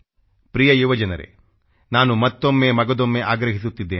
ಪ್ರಿಯ ಯುವ ಜನರೇ ನಾನು ಮತ್ತೊಮ್ಮೆ ಮಗದೊಮ್ಮೆ ಆಗ್ರಹಿಸುತ್ತಿದ್ದೇನೆ